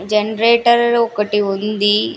Generator ఒకటి ఉంది.